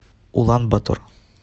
улан батор